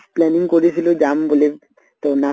planning কৰিছিলো যাম বুলি তহ নাগ